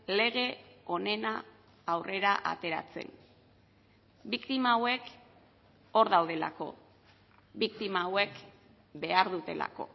lege onena aurrera ateratzen biktima hauek hor daudelako biktima hauek behar dutelako